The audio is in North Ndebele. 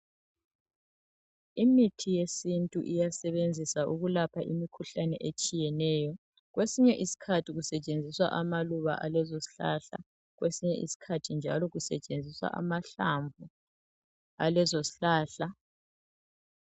Imithi yesintu iyasebenzisa ukulapha imikhuhlane etshiyeneyo .Kwesinye iskhathi kusetshenziswa amaluba alezo zihlahla kwesinye iskhathi njalo kusetshenziswa amahlamvu alezo zihlahla .